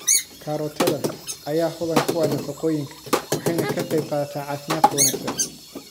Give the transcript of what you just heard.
Karootada ayaa hodan ku ah nafaqooyinka, waxayna ka qayb qaadataa caafimaadka wanaagsan.